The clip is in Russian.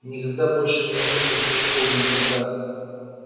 никогда больше не вернётся в ту школу никогда